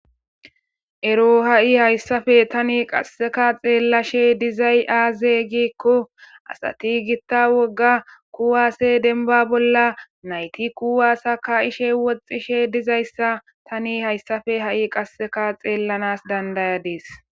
ero ha'i hayssafe tani qasseka xeellashe dizay aaze giikko asati gitta wogga kuwaase denba bolla nayti kuwaasa ka'ishe woxxishe dizayssa tani hayssafe ha'i qasseka xeellanas dandayadees